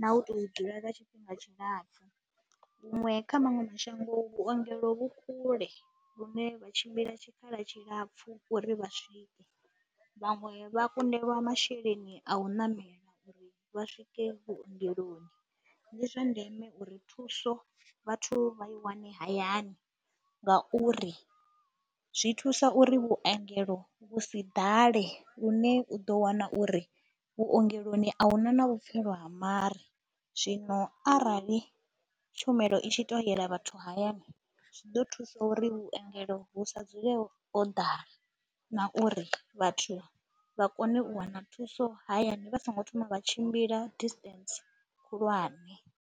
na u tou dzula lwa tshifhinga tshilapfhu. Huṅwe kha maṅwe mashango vhuongelo vhu kule vhune vha tshimbila tshikhala tshilapfhu uri vha swike, vhaṅwe vha kundelwa masheleni a u ṋamela uri vha swike vhuongeloni. Ndi zwa ndeme uri thuso vhathu vha i wane hayani ngauri zwi thusa uri vhuongelo vhu si ḓale lune u ḓo wana uri vhuongeloni a hu na na vhupfhelo ha mare, zwino arali tshumelo i tshi tou yela vhathu hayani zwi ḓo thusa uri vhuengelo vhu sa dzule ho ḓala na uri vhathu vha kone u wana thuso hayani vha songo thoma vha tshimbila distance khulwane.